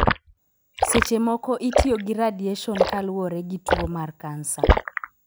Seche moko itiyo gi radiation kaluwore gi tuwo mar kansa.